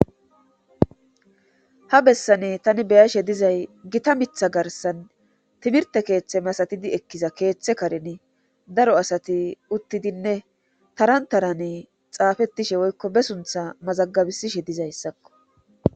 ha bessane tani beyashe dizay gita mitha garsan timirte keeththe masatidi ekkiza keeththe kareni daro asati uttidinne taran tarane xaafetishe woykko be suntha mazagabisishe dizayssakko